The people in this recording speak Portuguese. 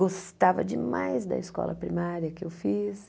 Gostava demais da escola primária que eu fiz.